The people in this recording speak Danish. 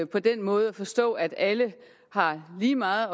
på den måde forstået at alle har lige meget